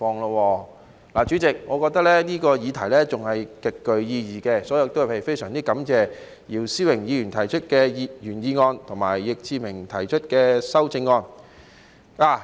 然而，主席，我認為這議題仍然極具意義，所以非常感謝姚思榮議員提出的原議案和易志明議員提出的修正案。